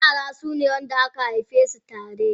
Yara sune wanda aka haifesu tare.